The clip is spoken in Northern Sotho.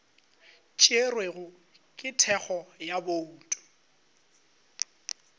tšerwego ka thekgo ya bouto